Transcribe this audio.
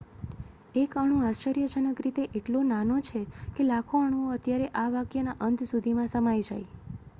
એક અણુ આશ્ચર્યજનક રીતે એટલો નાનો છે કે લાખો અણુઓ અત્યારે આ વાકયના અંત સુધીમાં સમાઈ જાય